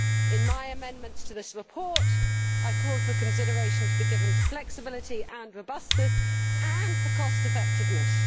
In my amendments to this report, I call for consideration to be given to flexibility and robustness and for cost effectiveness.